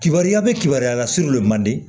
Kibaruya bɛ kibaruya la surun de mandi